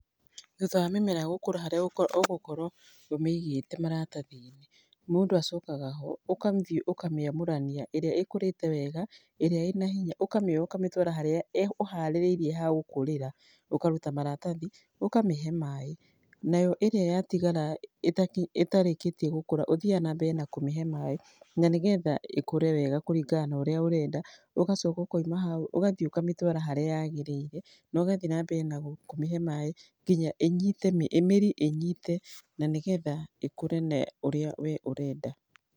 Thutha wa mĩmera gũkũra harĩa ũgũkorwo ũmĩigĩte maratathi-inĩ, mũndũ acokaga ũgathiĩ ũkamĩamũrania ĩrĩa ĩkũrĩte wega, ĩrĩa ĩna hinya, ũkamĩoya ũkamĩtwara harĩa ũharĩrĩirie ha gũkũrĩra, ũkaruta maratathi, ũkamĩhe maĩ. Nayo ĩrĩa yatigara ĩtarĩkĩtie gũkũra, ũthiaga na mbere na kũmĩhe maĩ, na nĩgetha ĩkũre wega kũringana na ũrĩa ũrenda, ũgacoka ũkoima hau, ũgathi ũkamĩtwara harĩa yagĩrĩire, na ũgathiĩ na mbere na kũmĩhe maĩ nginya ĩnyite mĩrĩ ĩnyite, na nĩgetha ĩkũre na ũrĩa we ũrenda.